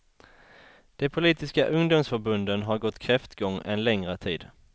De politiska ungdomsförbunden har gått kräftgång en längre tid.